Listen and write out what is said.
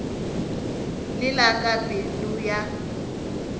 le la ka pelo ya